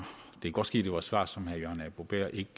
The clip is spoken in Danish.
det kan godt ske det var et svar som herre jørgen arbo bæhr ikke